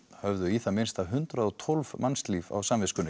höfðu í það minnsta hundrað og tólf mannslíf á samviskunni